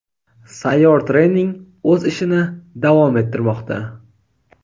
Sayyor trening o‘z ishini davom ettirmoqda:.